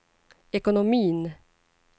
ekonomin